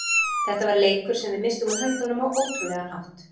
Þetta var leikur sem við misstum úr höndunum á ótrúlegan hátt.